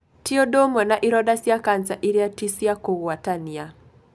Ti ũndũ umwe na ironda cia cancer iria ti cia kũgwatania.